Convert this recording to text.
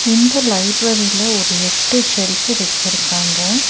இந்த லைப்பரரில ஒரு எட்டு செல்ஃப்ஃபு வெச்சிருக்காங்க.